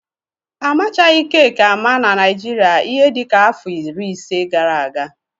Amachaghị keeki ámá na Naịjirịa ihe dịka afọ iri isii gara aga.